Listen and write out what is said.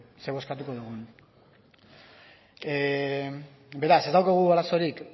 zer bozkatuko dugun beraz ez daukagu arazorik